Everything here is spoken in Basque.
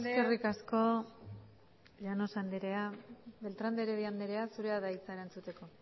eskerrik asko llanos andrea beltrán de heredia andrea zurea da hitza erantzuteko